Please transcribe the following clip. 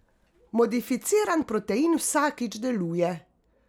Modificiran protein vsakič deluje.